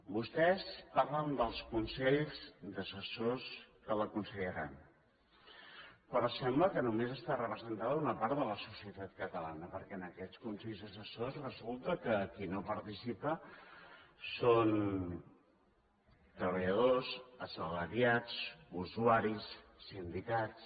vostès parlen dels consells d’assessors que l’aconsellaran però sembla que només hi està representada una part de la societat catalana perquè en aquests consells assessors resulta que qui no hi participa són treballadors assalariats usuaris sindicats